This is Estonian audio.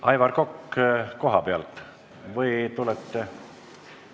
Aivar Kokk, kas koha pealt või tulete ...